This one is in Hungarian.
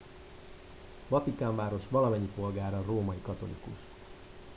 a vatikánváros valamennyi polgára római katolikus